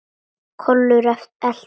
Kolur eltir.